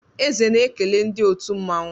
Eze na-ekele ndị otu mmanwụ.